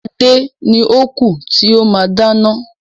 Adé ni ó kú tí ó máa dáná.